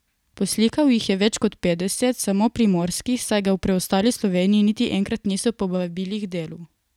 Poslikal jih je več kot petdeset, samo primorskih, saj ga v preostali Sloveniji niti enkrat niso povabili k delu.